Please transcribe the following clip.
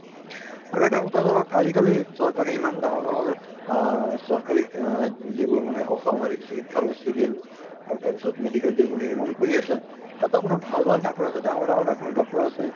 আৰু এটা কথা ধৰক আজি কালি চৰকাৰী ইমান ডাঙৰ ডাঙৰ আহ চৰকাৰী আহ যিবোৰ মানে অসামৰিক চিকিৎসালয় civil আৰু তাৰ পিছত medical যিবোৰ নিৰ্মান কৰি আছে, তাতো আপোনাৰ ভাল ভাল doctor আছে, ডাঙৰ ডাঙৰ doctor আছে